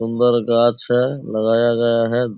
सुन्दर गाछ है लगाया गया है।